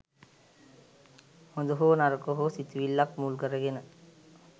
හොඳ හෝ නරක හෝ සිතිවිල්ලක් මුල් කරගෙන